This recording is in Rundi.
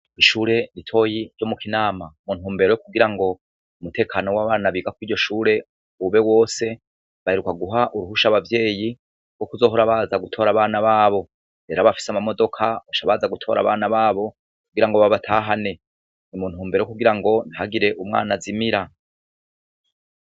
Ishure ritoyi ryo mu Kinama, mu ntumbero yo kugira ng'umutekano w'abana biga kuriryo shure ube wose, baheruka guha uruhusha abavyeyi kuzohora baza gutora abana babo n'abafise ama modoka baca baza gutora abana babo ngo babatahane, muntubero yo kugira ngo ntihagire umwana azimira.